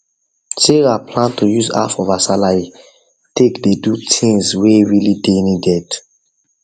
sarah plan to use half of her salary take dey do things wey really dey needed